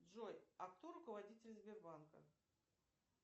джой а кто руководитель сбербанка